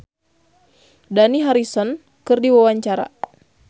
Dewi Persik olohok ningali Dani Harrison keur diwawancara